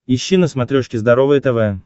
ищи на смотрешке здоровое тв